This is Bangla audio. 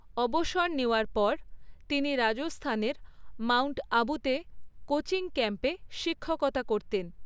অবসর নেওয়ার পর, তিনি রাজস্থানের মাউন্ট আবুতে কোচিং ক্যাম্পে শিক্ষকতা করতেন।